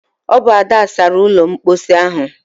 Ọ bụ Ada sara ụlọ mposi ahụ.